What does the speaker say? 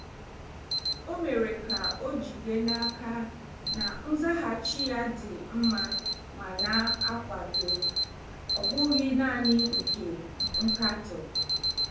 O mere ka o jide n'aka na nzaghachi ya dị mma ma na-akwado, ọ bụghị naanị nke nkatọ.